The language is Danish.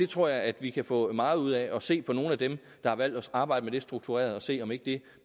tror jeg at vi kan få meget ud af at se på nogle af dem der har valgt at arbejde med det struktureret og se om ikke det